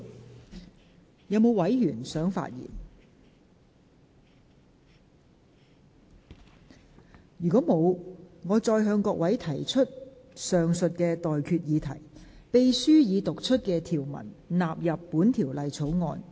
如果沒有委員想發言，我現在向各位提出的待決議題是：秘書已讀出的條文納入本條例草案。